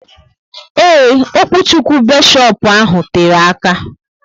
Eee, okwuchukwu beshopu ahụ tere aka